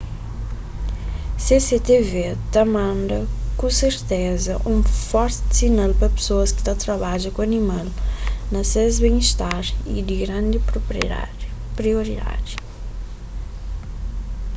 cctv ta manda ku serteza un forti sinal pa pesoas ki ta trabadja ku animal ma ses ben istar é di grandi prioridadi